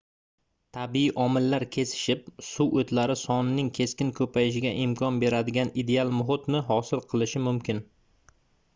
tabiiy omillar kesishib suv oʻtlari sonining keskin koʻpayishiga imkon beradigan ideal muhitni hosil qilishi mumkin